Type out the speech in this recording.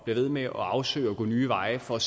ved med at afsøge det og gå nye veje for